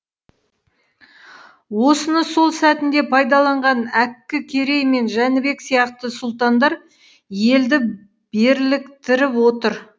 осыны сол сәтінде пайдаланған әккі керей мен жәнібек сияқты сұлтандар елді берліктіріп отыр